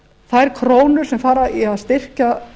þær krónur sem fara í að styrkja